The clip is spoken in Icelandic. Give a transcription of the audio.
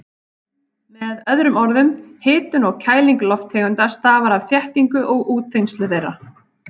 Með öðrum orðum, hitun og kæling lofttegunda stafar af þéttingu og útþenslu þeirra.